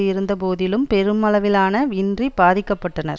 இருந்த போதிலும் பெருமளவிலான இன்றி பாதிக்க பட்டனர்